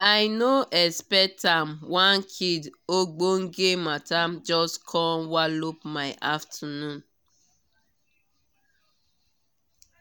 i no expect am one kid ogbonge mata jus com walop my afternoon